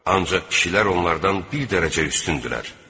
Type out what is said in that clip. Ancaq kişilər onlardan bir dərəcə üstündürlər.